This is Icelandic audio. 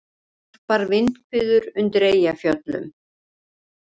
Snarpar vindhviður undir Eyjafjöllum